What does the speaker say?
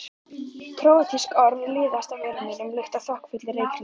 Króatísk orð liðast af vörum mínum líkt og þokkafullir reykhringir.